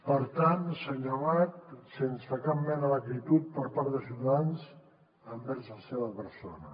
per tant senyor amat sense cap mena d’acritud per part de ciutadans envers la seva persona